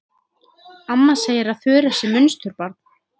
Amma segir að Þura sé munsturbarn.